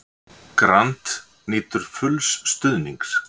Grant nýtur fulls stuðnings